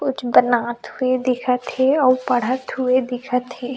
कुछ बनात हुए दिखत हे अउ पढ़त हुए दिखत हे।